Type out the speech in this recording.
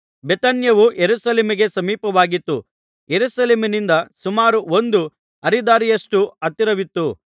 ಬೇಥಾನ್ಯವು ಯೆರೂಸಲೇಮಿಗೆ ಸಮೀಪವಾಗಿತ್ತು ಯೆರುಸಲೇಮಿನಿಂದ ಸುಮಾರು ಒಂದು ಹರಿದಾರಿಯಷ್ಟು ಅಂತರವಿತ್ತು